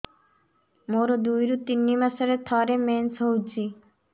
ମୋର ଦୁଇରୁ ତିନି ମାସରେ ଥରେ ମେନ୍ସ ହଉଚି